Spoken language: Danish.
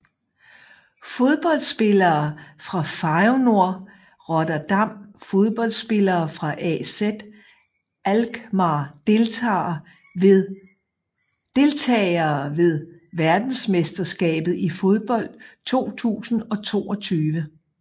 Fodboldspillere fra Feyenoord Rotterdam Fodboldspillere fra AZ Alkmaar Deltagere ved verdensmesterskabet i fodbold 2022